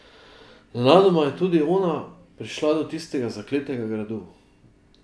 Nenadoma je tudi ona prišla do tistega zakletega gradu.